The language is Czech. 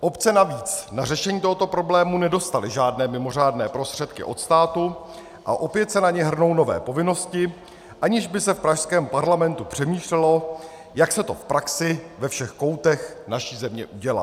Obce navíc na řešení tohoto problému nedostaly žádné mimořádné prostředky od státu a opět se na ně hrnou nové povinnosti, aniž by se v pražském parlamentu přemýšlelo, jak se to v praxi ve všech koutech naší země udělá.